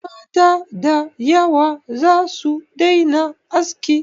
Mata da yawa za su daina aski.